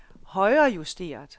højrejusteret